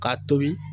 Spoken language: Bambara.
K'a tobi